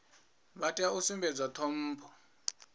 vha tea u sumbedzwa ṱhompho